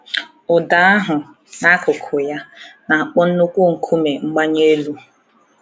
Ụdọ ahụ, n’akụkụ ya, na-akpọ nnukwu nkume mgbanye elu.